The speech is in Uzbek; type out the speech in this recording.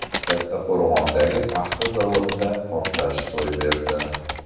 Kattaqo‘rg‘ondagi paxta zavodida portlash ro‘y berdi.